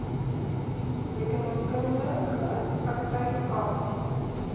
rekeningkundige praktyk aarp